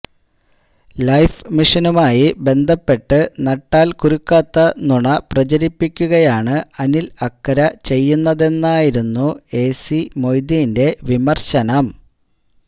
life മിഷനുമായി ബന്ധപ്പെട്ട് നട്ടാല്ക്കുരുക്കാത്ത നുണ പ്രചരിപ്പിക്കുകയാണ് അനില് അക്കര ചെയ്യുന്നതെന്നായിരുന്നു എ സി മൊയ്തീന്റെ വിമര്ശനം